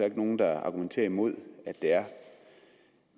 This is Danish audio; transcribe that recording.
ikke nogen der argumenterer imod at det er